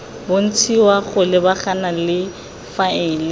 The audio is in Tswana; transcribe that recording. bontshiwa go lebagana le faele